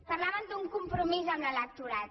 parlaven d’un compromís amb l’electorat